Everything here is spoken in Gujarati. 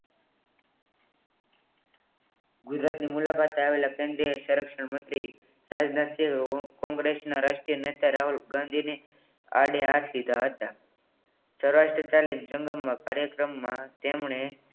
ગુજરાતની મુલાકાતે આવેલા કેન્દ્રીય સંરક્ષણ મંત્રી ગુજરાતના તેઓ કોંગ્રેસના રાષ્ટ્રીય નેતા રાહુલ ગાંધીની આડે હાથ લીધા હતા. સૌરાષ્ટ્ર જનતા ની જંગમાં કાર્યક્રમમાં તેમણે